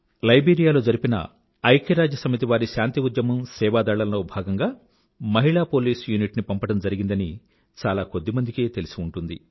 Liberia లో జరిపిన ఐక్యరాజ్యసమితి వారి శాంతి ఉద్యమం సేవాదళం లో భాగంగా మహిళా పోలీస్ యూనిట్ ని పంపడమ్ జరిగిందని చాలా కొద్ది మందికే తెలిసి ఉంటుంది